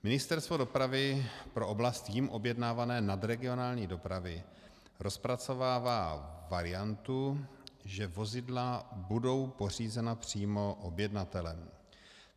Ministerstvo dopravy pro oblast jím objednávané nadregionální dopravy rozpracovává variantu, že vozidla budou pořízena přímo objednatelem.